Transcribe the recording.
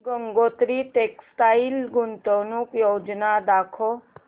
Gangotri textile गुंतवणूक योजना दाखव